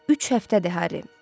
Üç həftədir, Harry.